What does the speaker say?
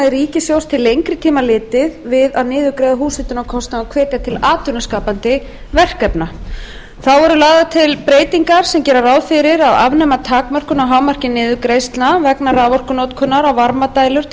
ríkissjóðs til lengri tíma litið við að niðurgreiða húshitunarkostnað og hvetja til atvinnuskapandi verkefna þá eru lagðar til breytingar sem gera ráð fyrir að afnema takmörkun á hámarki niðurgreiðslna vegna raforkunotkunar á varmadælur til